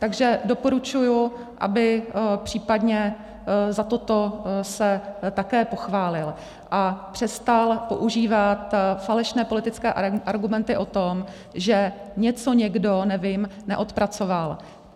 Takže doporučuji, aby případně za toto se také pochválil a přestal používat falešné politické argumenty o tom, že něco někdo, nevím, neodpracoval.